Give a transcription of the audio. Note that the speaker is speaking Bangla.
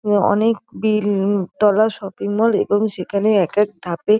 উম অনেক বিল ম তলা শপিং মল এবং সেখানে এক এক ধাপে--